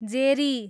जेरी